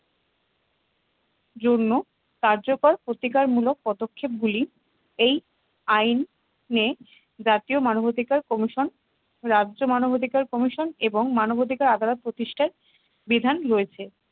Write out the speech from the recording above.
জন্য কার্যকর প্রতিকার মূলক পদক্ষেপ গুলি এই আইনে জাতীয় মানবাধিকার commission রাজ্য মানবাধিকার commission এবং মানবাধিকার আদালত প্রতিষ্ঠায় বিধান রয়েছে